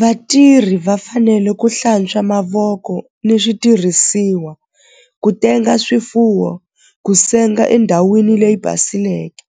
Vatirhi va fanele ku hlantswa mavoko ni switirhisiwa ku tenga swifuwo ku senga endhawini leyi basileke